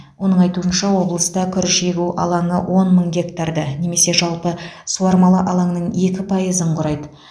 оның айтуынша облыста күріш егу алаңы он мың гектарды немесе жалпы суармалы алаңның екі пайызын құрайды